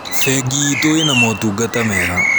Bengi itũ ina motungata mega.